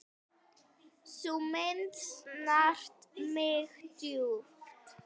Sú mynd snart mig djúpt.